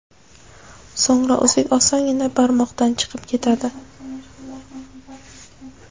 So‘ngra uzuk osongina barmoqdan chiqib ketadi.